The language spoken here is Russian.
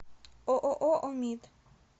ооо омид